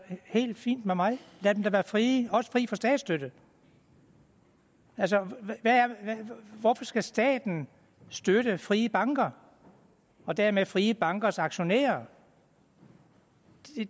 helt fint med mig lad dem da være frie også fri for statsstøtte altså hvorfor skal staten støtte frie banker og dermed frie bankers aktionærer